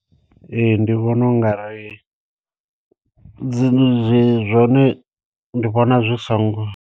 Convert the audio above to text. Ee ndi vhona u nga ri dzi zwone ndi vhona zwi songo.